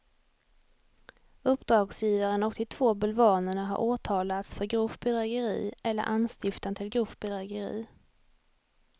Uppdragsgivaren och de två bulvanerna har åtalats för grovt bedrägeri eller anstiftan till grovt bedrägeri.